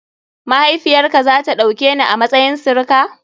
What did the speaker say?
Mahaifiyar ka za ta ɗauke ni a matsayin sirika?